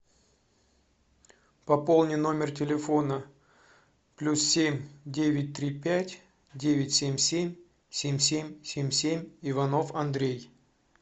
пополни номер телефона плюс семь девять три пять девять семь семь семь семь семь семь иванов андрей